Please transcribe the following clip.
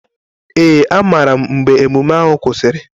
Ee, amaara m mgbe ememe ahụ kwụsịrị.